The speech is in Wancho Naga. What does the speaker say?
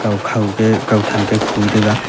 hukhaw te kau than te khu tega.